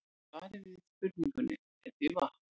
Svarið við spurningunni er því vatn.